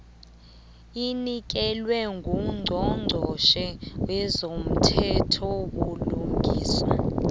anikelwe ngungqongqotjhe wezomthethobulungiswa